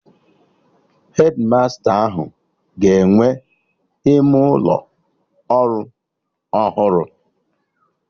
Hedmasta ahụ ga-enwe ime ụlọ ọrụ ọhụrụ